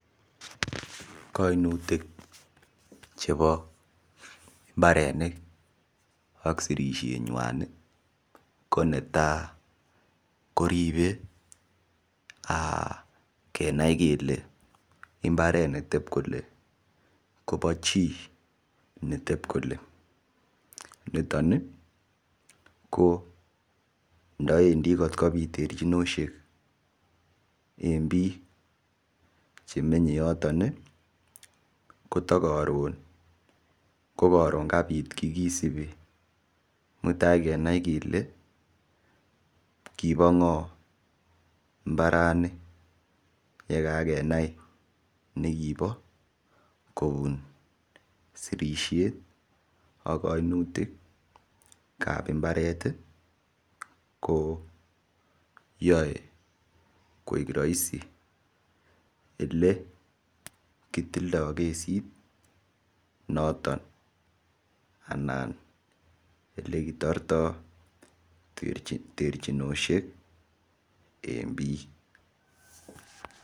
Koimutik chebo mbarenik ak sirishet ng'wan ko netai ko ribe kenai kele mbaret netep kole Kobo chii netep kole nitoni ko ndawendi kotkobit terchinoshek eng biik chemenyei yoton kotokoron ko karon kabit kie kisipi mutai kenai kele kibo ng'o mbarani yekakenai nekobo kobun sirishet ak kainutik ap mbaret ko yoe koek raisi ele kitildoi kesit noton anan ole kitortoi terchinoshek eng biik.